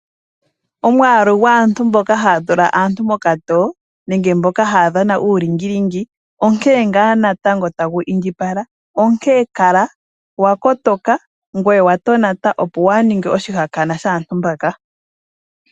Omwaalu gwaantu mboka haya tula aantu mokatoyo nenge mboka haya dhana uulingilingi onkene ngaa natango tagu indjipala. Onkene kala wa kotoka ngweye wa tonata opo waa ninge oshihakanwa shaantu mbaka.